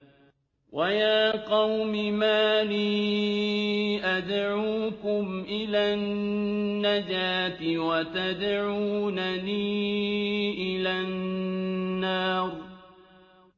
۞ وَيَا قَوْمِ مَا لِي أَدْعُوكُمْ إِلَى النَّجَاةِ وَتَدْعُونَنِي إِلَى النَّارِ